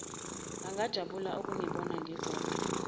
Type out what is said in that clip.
angajabula ukungibona ngigoqe